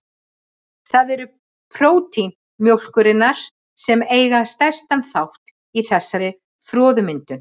Það eru prótín mjólkurinnar sem eiga stærstan þátt í þessari froðumyndun.